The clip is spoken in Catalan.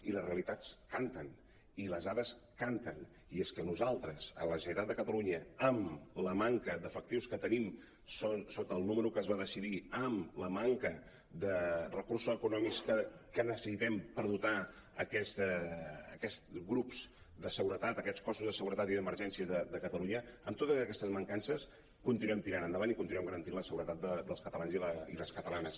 i les realitats canten i les dades canten i és que nosaltres a la generalitat de catalunya amb la manca d’efectius que tenim sota el número que es va decidir amb la manca de recursos eco·nòmics que necessitem per dotar aquests grups de seguretat aquests cossos de segu·retat i d’emergències de catalunya amb totes aquestes mancances continuem tirant endavant i continuem garantint la seguretat dels catalans i les catalanes